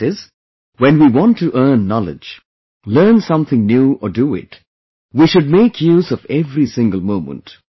That is, when we want to earn knowledge, learn something new or do it, we should make use of every single moment